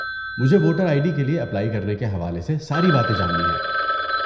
مجھے voter I D کے لیے اپلائی کرنے کے حوالے سے ساری باتیں جاننی ہیں۔